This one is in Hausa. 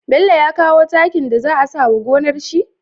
Bello ya kawo takin da za a sawa gonar shi?